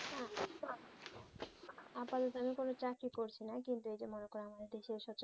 আমি কোনো চাকরি করছি না কিন্তু এইযে মনে করে আমাদের দেশে